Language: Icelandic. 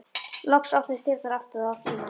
Loks opnuðust dyrnar aftur og það var Frímann.